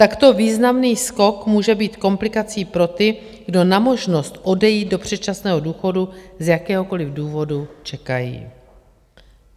Takto významný skok může být komplikací pro ty, kdo na možnost odejít do předčasného důchodu z jakéhokoliv důvodu čekají.